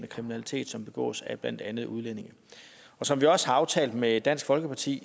kriminalitet som begås af blandt andet udlændinge som vi også har aftalt med dansk folkeparti